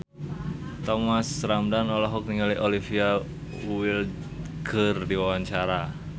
Thomas Ramdhan olohok ningali Olivia Wilde keur diwawancara